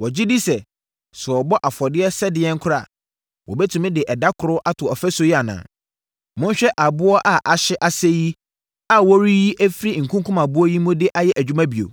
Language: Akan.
Wɔgye di sɛ, sɛ wɔbɔ afɔdeɛ sɛ ɛdeɛn koraa a, wɔbɛtumi de ɛda koro ato ɔfasuo yi anaa? Monhwɛ aboɔ a ahye asɛeɛ yi a wɔreyiyi afiri nkunkumaboɔ yi mu de ayɛ adwuma bio?”